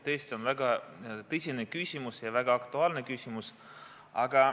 Tõesti, see on väga tõsine ja väga aktuaalne küsimus.